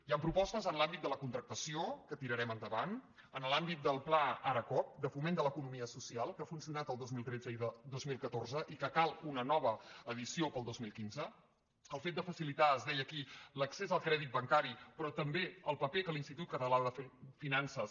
hi han propostes en l’àmbit de la contractació que tirarem endavant en l’àmbit del pla aracoop de foment de l’economia social que ha funcionat el dos mil tretze i el dos mil catorze i que en cal una nova edició per al dos mil quinze el fet de facilitar es deia aquí l’accés al crèdit bancari però també el paper que l’institut català de finances